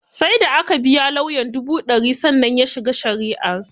Sai da aka biya lauyan dubu ɗari, sannan ya shiga shari'ar